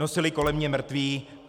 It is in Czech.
Nosili kolem mě mrtvé.